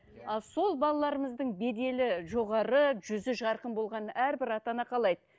ал сол балаларымыздың беделі жоғары жүзі жарқын болғанын әрбір ата ана қалайды